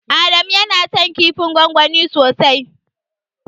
Adamu yana son kifin gwangwani sosai.